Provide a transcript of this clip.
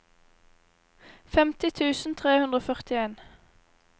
femti tusen tre hundre og førtien